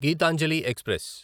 Gitanjali express